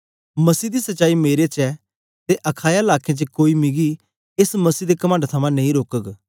मसीह दी सच्चाई मेरे च ऐ ते अखाया लाकें च कोई मिकी एस मसीह दे कमंड थमां नेई रोकग